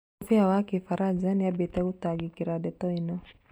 Mũbĩa wa kĩfaranja nĩabatie gũtangĩkĩra ndeto ĩno